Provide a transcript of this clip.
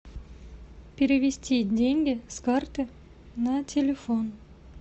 перевести деньги с карты на телефон